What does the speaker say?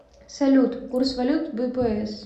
салют курс валют бпс